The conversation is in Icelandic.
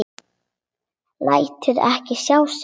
Lætur ekki sjá sig.